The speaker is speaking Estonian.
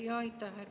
Aitäh!